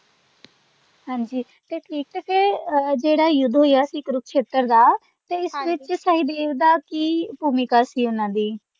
ਹਾਂਜੀ ਇਕ ਤੇ ਜਿਹੜਾ ਯੁੱਧ ਹੋਇਆ ਸੀ ਕੁਰੂਕਸ਼ੇਤਰ ਦਾ ਹਾਂਜੀ ਤੇ ਇਸ ਵਿਚ ਸਹਿਦੇਵ ਦਾ ਕੀ ਭੂਮਿਕਾ ਸੀ ਓਨਾ ਦੀ।